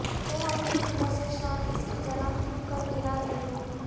تم اپنے حکموں سے شان اس کی جناب کیوں کر گرا رہے ہو